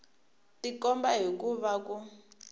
tikomba hi ku va ku